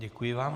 Děkuji vám.